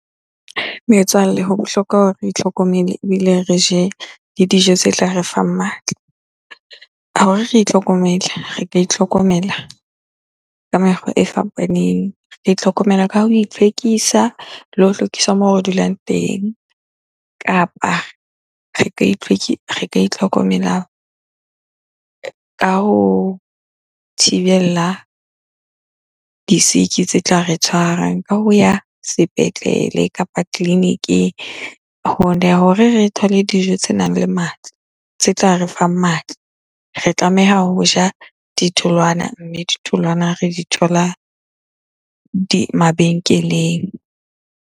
Metswalle, ho bohlokwa hore re itlhokomele ebile re je le dijo tse tla re fang matla. Hore re itlhokomele, re ka itlhokomela ka mekgwa e fapaneng. Re itlhokomela ka ho itlhwekisa le ho hlwekisa moo re dulang teng, kapa re ka re ka itlhokomela ka ho thibella di-sick-i tse tla re tshwarang ka ho ya sepetlele kapa tleliniking . Hore re thole dijo tsenang le matla, tse tla re fang matla. Re tlameha ho ja ditholwana, mme ditholwana re di thola mabenkeleng.